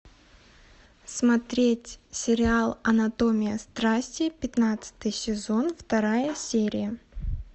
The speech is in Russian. смотреть сериал анатомия страсти пятнадцатый сезон вторая серия